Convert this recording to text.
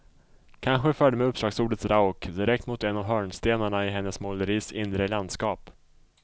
Kanske förde mig uppslagsordet rauk direkt mot en av hörnstenarna i hennes måleris inre landskap.